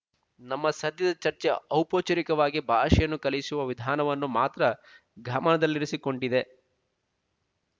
ನಮ್ಮ ಸದ್ಯದ ಚರ್ಚೆ ಔಪಚಾರಿಕವಾಗಿ ಭಾಷೆಯನ್ನು ಕಲಿಸುವ ವಿಧಾನವನ್ನು ಮಾತ್ರ ಗಮನದಲ್ಲಿರಿಸಿಕೊಂಡಿದೆ